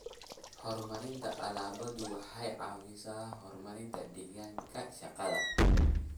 Horumarinta alaabadu waxay caawisaa horumarinta deegaanka shaqada.